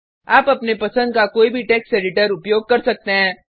आप अपने पसंद का कोई भी टेक्स्ट एडिटर उपयोग कर सकते हैं